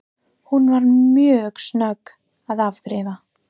Hún var mjög snögg að afgreiða.